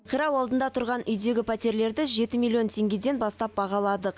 қирау алдында тұрған үйдегі пәтерлерді жеті миллион теңгеден бастап бағаладық